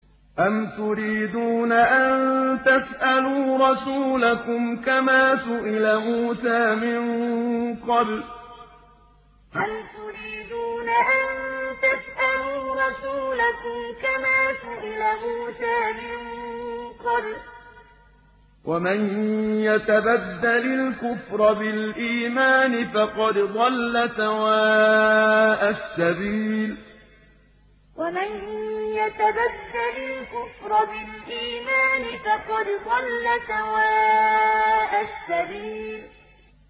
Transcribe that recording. أَمْ تُرِيدُونَ أَن تَسْأَلُوا رَسُولَكُمْ كَمَا سُئِلَ مُوسَىٰ مِن قَبْلُ ۗ وَمَن يَتَبَدَّلِ الْكُفْرَ بِالْإِيمَانِ فَقَدْ ضَلَّ سَوَاءَ السَّبِيلِ أَمْ تُرِيدُونَ أَن تَسْأَلُوا رَسُولَكُمْ كَمَا سُئِلَ مُوسَىٰ مِن قَبْلُ ۗ وَمَن يَتَبَدَّلِ الْكُفْرَ بِالْإِيمَانِ فَقَدْ ضَلَّ سَوَاءَ السَّبِيلِ